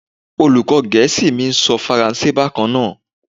Olùkó gẹ̀ẹ́sì mi ń sọ Faransé bákan náà.